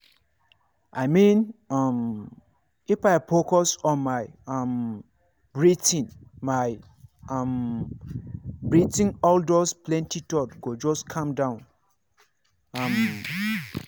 i mean um if i focus on my um breathing my um breathing all those plenty thoughts go just calm down. um